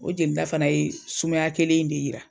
O jeli ta fana ye sumaya kelen in de jira.